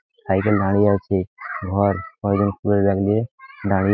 cycle দাঁড়িয়ে আছে ঘরকয়েকজন স্কুল এর ব্যাগ নিয়ে দাঁড়িয়ে --